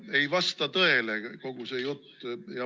No ei vasta tõele kogu see jutt.